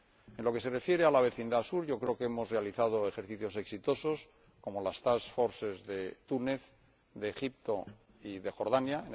En lo que se refiere a la vecindad sur, yo creo que hemos realizado ejercicios exitosos, como las task forces de Túnez, de Egipto y de Jordania